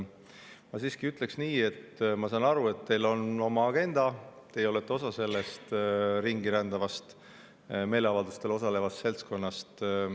Ma ütlen nii, et ma saan aru, et teil on oma agenda, teie olete osa sellest ringirändavast meeleavaldustel osalevast seltskonnast.